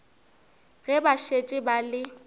ge ba šetše ba le